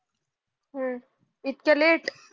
हम्म इतक लेट